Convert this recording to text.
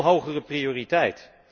Veel hogere prioriteit.